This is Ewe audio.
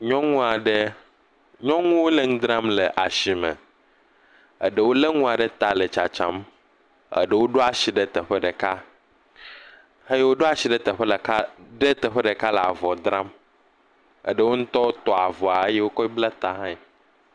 Nyɔnu aɖe. Nyɔnuwo le nu dram le asime. Eɖewo le ŋua ɖe ta le tsatsam. Eɖewo ɖo asi ɖe teƒe ɖeka. Xeyio ɖo asi le teƒe ɖeka ɖe teƒe ɖeka le avɔ dram eɖewo ŋutɔ tɔ avɔa eye wokɔe ble ta hãe.